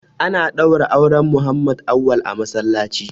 Ana ɗaura auren Muhammad Auwal a masallaci.